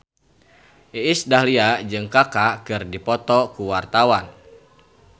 Iis Dahlia jeung Kaka keur dipoto ku wartawan